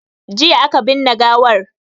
Jiya aka binne gawar